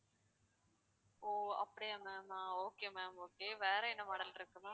ஓ அப்படியா ma'am ஆஹ் okay ma'am okay வேற என்ன model இருக்கு